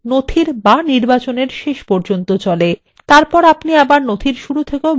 তারপর আপনি document শুরু থেকেও বানান পরীক্ষা করতে পারেন